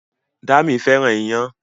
Dámi fẹ́ràn iyán